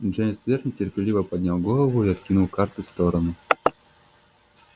джеймс твер нетерпеливо поднял голову и откинул карты в сторону